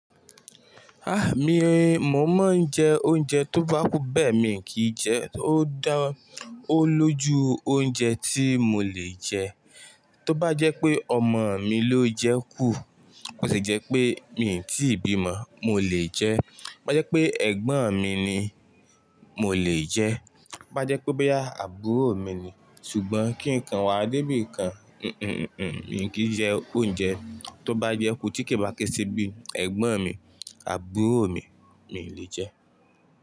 Ah! Mi, mo máa ń jẹ oúnjẹ tó bá kún bẹ́ẹ̀ mi kì í jẹ ó dá, ó lójú oúnjẹ tí mo lè jẹ. Tó bá jẹ́ pé ọmọ mi ló jẹ kú, ó sì jẹ́ pé mi ò tí ì bí ọmọ, mo lè jẹ. Bá jẹ́ pé ẹ̀gbọ́n mi ni, mo lè jẹ. Bá jẹ́ pé ó bá yá àbúrò mi ni, ṣùgbọ́n kí nǹkan wà débi kan, un, un, un, un, mi kì í jẹ oúnjẹ. Tó bá jẹ kú tí kì bá kí sí bí ẹ̀gbọ́n mi, àbúrò mi, mi lè jẹ.